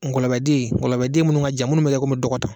Ngɔlɔbɛden gɔlɔbɛden minnu ŋa jan minnu bɛ kɛ komi dɔgɔ ta